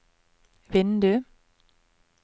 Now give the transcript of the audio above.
vindu